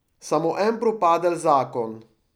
Samo en propadel zakon.